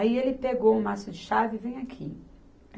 Aí ele pegou um maço de chave, venha aqui.